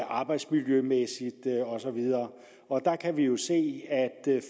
arbejdsmiljømæssigt og så videre der kan vi jo se at